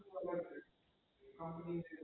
હમ